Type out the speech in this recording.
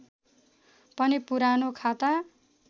पनि पुरानो खाता